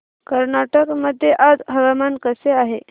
कर्नाटक मध्ये आज हवामान कसे आहे